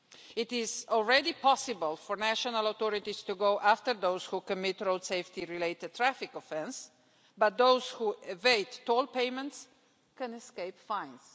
It is already possible for national authorities to go after those who commit a road safety related traffic offence but those who evade toll payments can escape fines.